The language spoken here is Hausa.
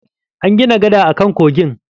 An gina gada akan kogin.